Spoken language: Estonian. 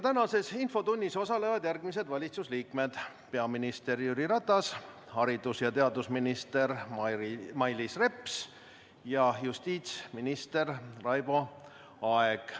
Tänases infotunnis osalevad järgmised valitsuse liikmed: peaminister Jüri Ratas, haridus- ja teadusminister Mailis Reps ja justiitsminister Raivo Aeg.